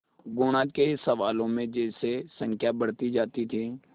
गुणा के सवालों में जैसे संख्या बढ़ती जाती थी